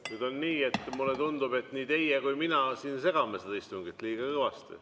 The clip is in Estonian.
Nüüd on nii, et mulle tundub, et nii teie kui mina siin segame seda istungit liiga kõvasti.